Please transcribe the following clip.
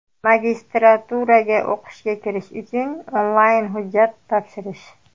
Magistraturaga o‘qishga kirish uchun onlayn hujjat topshirish .